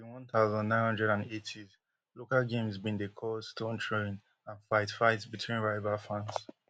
one thousand, nine hundred and eightys local games bin dey cause stone throwing and fight fight between rival fans